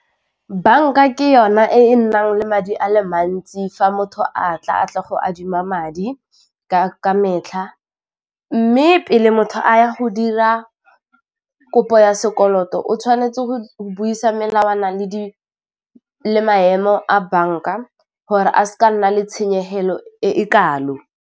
Bank-a ke yona e nnang le madi ale mantsi fa motho a tla a tla go adima madi ka metlha mme pele motho a ya go dira kopo ya sekoloto o tshwanetse go buisa melawana le maemo a bank-a gore a seke a nna le tshenyegelo e e kalo.